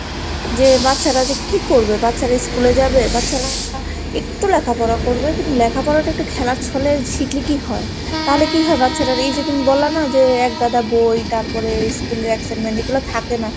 যে বাচ্চারা যে কি করবে? বাচ্চারা স্কুলে যাবে? বাচ্চারা একটু লেখাপড়া করবে কিন্তু লেখাপড়াটা একটু খেলার ছলে শিখলে কি হয়? তাহলে কি হয় বাচ্চাটার এই যে তুমি বলো না যে একগাদা বই তারপরে school এ excitement এগুলা থাকে না।